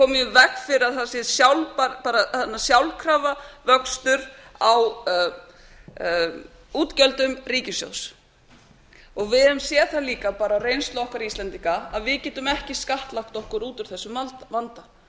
við komum í veg fyrir að það sé sjálfkrafa vöxtur á útgjöldum ríkissjóðs við höfum séð það líka af reynslu okkar íslendinga að við getum ekki skattlagt okkur út úr þessum vanda þannig